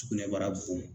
Sugunɛbara bon